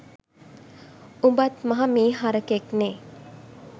උඹත් මහ මී හරකෙක්නෙ